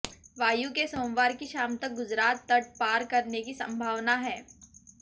वायु के सोमवार की शाम तक गुजरात तट पार करने की संभावना है